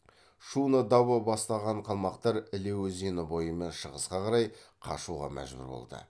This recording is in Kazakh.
шуно дабо бастаған қалмақтар іле өзені бойымен шығысқа қарай қашуға мәжбүр болды